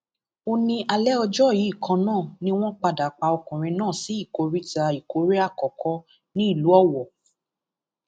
ó ní alẹ ọjọ yìí kan náà ni wọn padà pa ọkùnrin náà sí ìkóríta ìkórè àkọkọ nílùú owó